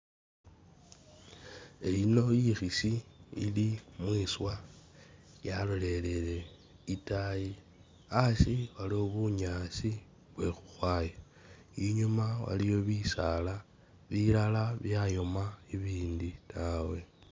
Eyino ikhisi ili mwiswa yaloleleye itaayi asi waliwo bunyaasi bwe khukhwaya inyuma waliyo bisaala bilala byayoma ibindi taawe.